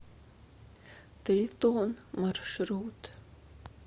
тритон маршрут